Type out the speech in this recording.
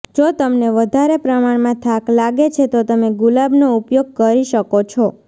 જો તમને વધારે પ્રમાણમાં થાક લાગે છે તો તમે ગુલાબનો ઉપયોગ કરી શકો છો